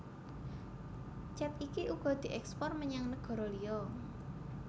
Cet iki uga dièkspor menyang negara liya